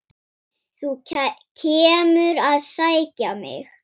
Þú kemur að sækja mig.